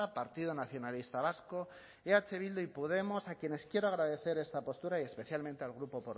partido nacionalista vasco eh bildu y podemos a quienes quiero agradecer esta postura y especialmente al grupo